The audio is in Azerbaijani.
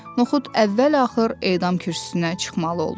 Noxud əvvəl-axır edam kürsüsünə çıxmalı oldu.